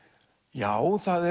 já það